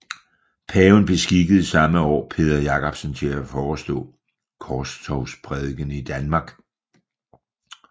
Paven beskikkede samme år Peder Jacobsen til at forestå Korstogsprædikenen i Danmark